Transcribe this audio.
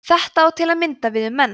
þetta á til að mynda við um menn